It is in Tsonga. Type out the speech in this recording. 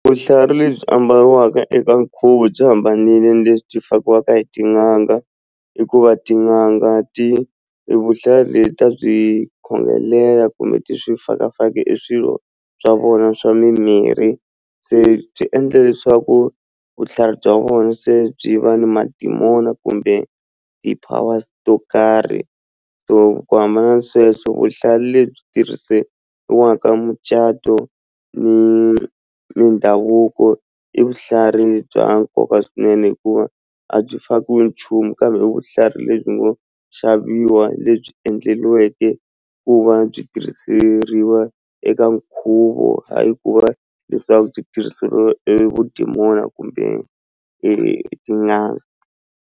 Vuhlalu lebyi ambariwaka eka nkhuvo byi hambanile lebyi byi fakiwaka hi tin'anga hikuva tin'anga ti ta byi khongelela kumbe ti swi faka faki e swilo swa vona swa mimirhi se byi endle leswaku vuhlalu bya vona se byi va na madimoni kumbe ti-powers to karhi so ku hambana ni sweswo vuhlalu lebyi tirhisiwaka mucato ni mindhavuko i bya nkoka swinene hikuva a byi fakiwi nchumu kambe vuhlalu lebyi ngo xaviwa lebyi endleriweke ku va byi tirhiseriwa eka nkhuvo hayi ku va leswaku byi tirhiseriwa e vudimoni kumbe etin'angeni.